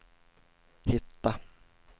hitta